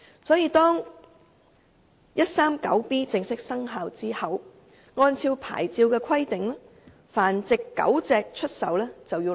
因此，在第 139B 章正式生效後，按照發牌規定，出售繁殖狗隻必須申領牌照。